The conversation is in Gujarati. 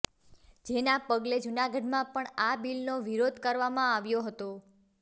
જેના પગલે જૂનાગઢમાં પણ આ બિલનો વિરોધ કરવામાં આવ્યો હતો